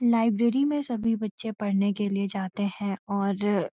library में सभी बच्‍चे पढ़ने के लिए जाते हैं और --